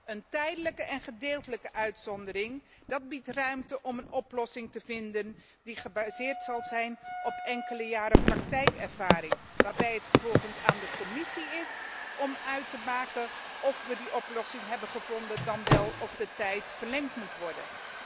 Een tijdelijke en gedeeltelijke uitzondering, dat biedt ruimte om een oplossing te vinden die gebaseerd zal zijn op enkele jaren praktijkervaring, waarbij het vervolgens aan de Commissie is om uit te maken of we die oplossing hebben gevonden, dan wel of de tijd verlengd moet worden.